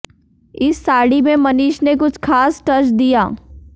इस साड़ी में मनीष ने कुछ खास टच दिया